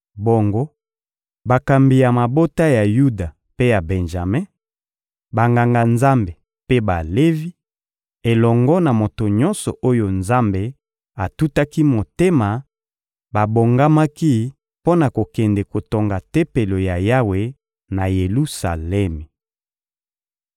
Bongo bakambi ya mabota ya Yuda mpe ya Benjame, Banganga-Nzambe mpe Balevi, elongo na moto nyonso oyo Nzambe atutaki motema babongamaki mpo na kokende kotonga Tempelo ya Yawe, na Yelusalemi.